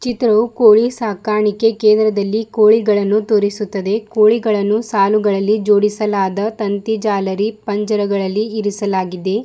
ಚಿತ್ರವು ಕೋಳಿ ಸಾಕಾಣಿಕೆ ಕೇಂದ್ರದಲ್ಲಿ ಕೋಳಿಗಳನ್ನು ತೋರಿಸುತ್ತದೆ ಕೋಳಿಗಳನ್ನು ಸಾಲುಗಳಲ್ಲಿ ಜೋಡಿಸಲಾದ ತಂತಿ ಜಾಲರಿ ಪಂಜರಗಳಲ್ಲಿ ಇರಿಸಲಾಗಿದೆ.